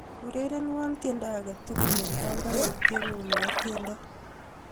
Urerenwo tiendo aketugul eng banganutietngu nebo tiendo